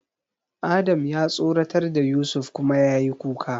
Adam ya tsoratar da Yusuf kuma yayi kuka.